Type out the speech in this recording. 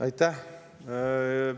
Aitäh!